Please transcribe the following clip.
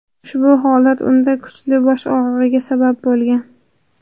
Ushbu holat unda kuchli bosh og‘rig‘iga sabab bo‘lgan.